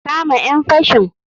Kama ƴan fashin.